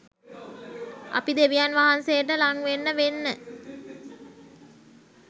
අපි දෙවියන් වහන්සේට ළං වෙන්න වෙන්න